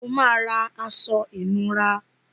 O máa ra aṣọ ìnura.